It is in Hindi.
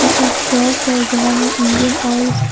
यह शॉप है जहां पर इंजन ऑयल --